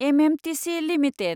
MMTC limited